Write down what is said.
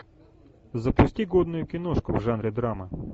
запусти годную киношку в жанре драма